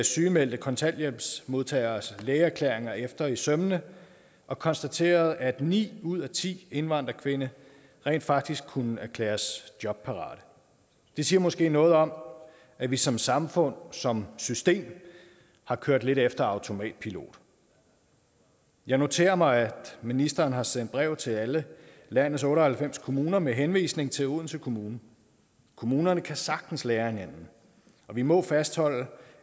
sygemeldte kontanthjælpsmodtageres lægeerklæringer efter i sømmene og konstaterede at ni ud af ti indvandrerkvinder rent faktisk kunne erklæres jobparate det siger måske noget om at vi som samfund som system har kørt lidt efter automatpilot jeg noterer mig at ministeren har sendt brev til alle landets otte og halvfems kommuner med henvisning til odense kommune kommunerne kan sagtens lære af hinanden og vi må fastholde